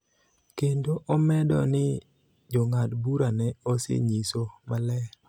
kendo omedo ni Jong'ad bura ne osenyiso maler